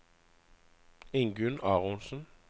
Ingunn Aronsen